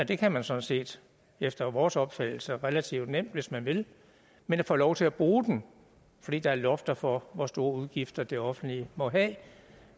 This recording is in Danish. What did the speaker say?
det kan man sådan set efter vores opfattelse relativt nemt få hvis man vil men at få lov til at bruge dem fordi der er lofter for hvor store udgifter det offentlige må have